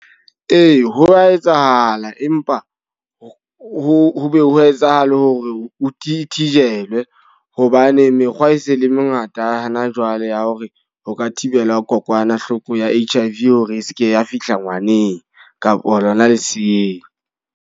Ee, ho wa etsahala. Empa ho be ho etsahale hore this thijelwe. Hobane mekgwa e se e le mengata hana jwale ya hore ho ka thibela kokwanahloko ya H_I_V hore e seke ya fihla ngwaneng kapa lona leseeng.